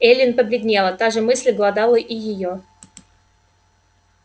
эллин побледнела та же мысль глодала и её